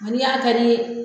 Ni n y'a kari